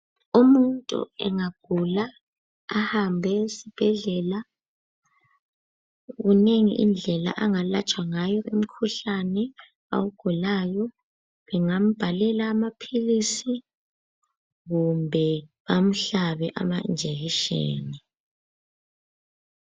Umuntu engagula ahambe esibhedlela kunengi indlela angalatshwa ngayo umkhuhlane awugulayo. Bengambhalela amaphilisi kumbe bamhlabe amajekiseni.